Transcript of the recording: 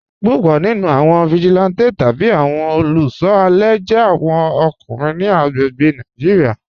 Púpọ̀ nínú awọn vigilante tabi awọn olùṣọ alẹ jẹ̀ awọn ọkùnrin ni agbègbè̀ Nàìjíríà.